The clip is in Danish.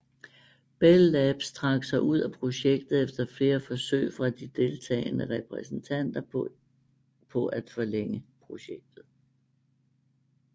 Bell Labs trak sig ud af projektet efter flere forsøg fra de deltagende repræsentanter på at forlænge projektet